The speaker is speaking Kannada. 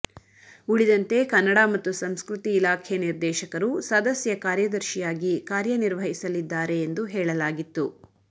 ಉಳಿದಂತೆ ಕನ್ನಡ ಮತ್ತು ಸಂಸ್ಕೃತಿ ಇಲಾಖೆ ನಿರ್ದೇಶಕರು ಸದಸ್ಯ ಕಾರ್ಯದರ್ಶಿಯಾಗಿ ಕಾರ್ಯ ನಿರ್ವಹಿಸಲಿದ್ದಾರೆ ಎಂದು ಹೇಳಲಾಗಿತ್ತು